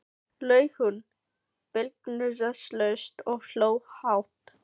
laug hún blygðunarlaust og hló hátt.